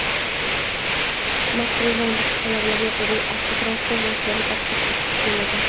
Mazkur nizom talablari quyidagi avtotransport vositalariga tatbiq etilmaydi:.